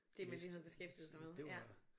Det man lige havde beskæftiget sig med ja